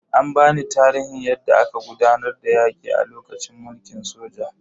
An bani tarihin yadda aka gudanar da yaki a lokacin mulkin soja.